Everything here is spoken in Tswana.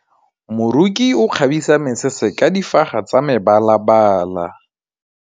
Moroki o kgabisa mesese ka difaga tsa mebalabala.